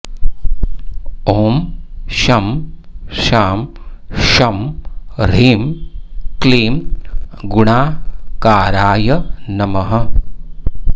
ॐ शं शां षं ह्रीं क्लीं गुणाकाराय नमः